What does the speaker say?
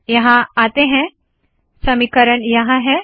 यहाँ आते है समीकरण यहाँ है